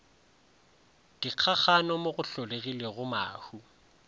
dikgakgano mo go hlolegilego mahu